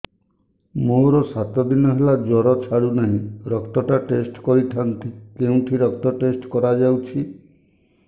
ମୋରୋ ସାତ ଦିନ ହେଲା ଜ୍ଵର ଛାଡୁନାହିଁ ରକ୍ତ ଟା ଟେଷ୍ଟ କରିଥାନ୍ତି କେଉଁଠି ରକ୍ତ ଟେଷ୍ଟ କରା ଯାଉଛି